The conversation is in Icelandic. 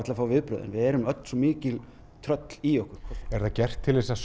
að fá viðbrögðin við erum svo mikil tröll í okkur er þetta gert til að